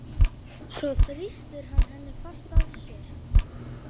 Svo þrýstir hann henni fast að sér.